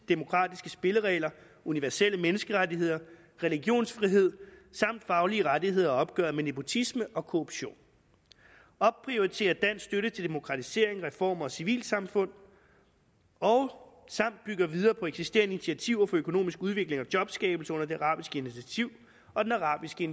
demokratiske spilleregler universelle menneskerettigheder religionsfrihed samt faglige rettigheder og opgøret med nepotisme og korruption opprioriterer dansk støtte til demokratisering reformer og civilsamfund samt bygger videre på eksisterende initiativer for økonomisk udvikling og jobskabelse under det arabiske initiativ og den arabiske